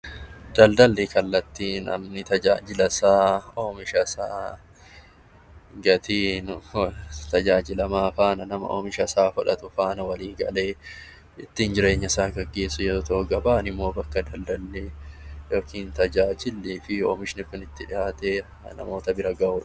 Daldalli kallattii namni tajaajila isaa, oomisha isaa, gatii tajaajilamaa faana , oomisha isaa fudhatu faana walii galee ittiin jireenya isaa gaggeessu yoo ta'u, gabaan immoo bakka daldalli fi tajaajilli fi oomishni Kun itti dhihaatee namoota bira gahudha.